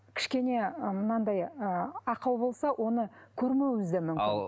кішкене мынадай ы ақау болса оны көрмеуіміз де